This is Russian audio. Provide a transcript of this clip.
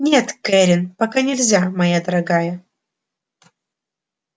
нет кэррин пока нельзя моя дорогая